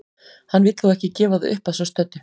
Hann vill þó ekki gefa það upp að svo stöddu.